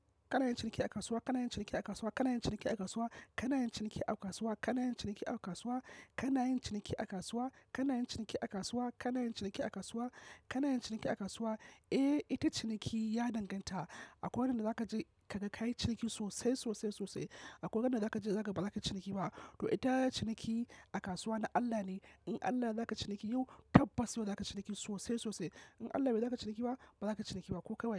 Kana yin ciniki a kasuwa, kana yin ciniki a kasuwa, kana yin ciniki a kasuwa, kana yin ciniki a kasuwa, kana yin ciniki a kasuwa, kana yin ciniki a kasuwa, kana yin ciniki a kasuwa, kana yin ciniki a kasuwa, kana yin ciniki a kasuwa. Eh, ita ciniki ya danganta. Akwai wanda zaka je kaga kayi ciniki sosai sosai sosai. Akwai wanda zaka je za ka ga baza kayi ciniki ba. To ita ciniki a kasuwa na Allah ne. In Allah yayi zakayi ciniki yau tabbas yau za kayi ciniki sosai sosai. In Allah baiyi za kayi ciniki ba, ba za kayi ciniki ba ko kai waye.